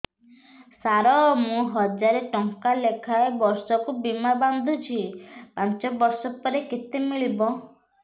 ସାର ମୁଁ ହଜାରେ ଟଂକା ଲେଖାଏଁ ବର୍ଷକୁ ବୀମା ବାଂଧୁଛି ପାଞ୍ଚ ବର୍ଷ ପରେ କେତେ ମିଳିବ